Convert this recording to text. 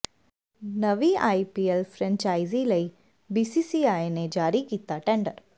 ਨਵੀਂ IPL franchise ਲਈ BCCI ਨੇ ਜਾਰੀ ਕੀਤਾ ਟੈਂਡਰ